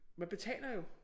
Man betaler jo